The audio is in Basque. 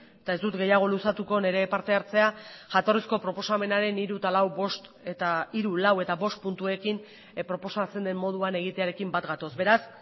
eta ez dut gehiago luzatuko nire partehartzea jatorrizko proposamenaren hiru eta lau bost eta hiru lau eta bost puntuekin proposatzen den moduan egitearekin bat gatoz beraz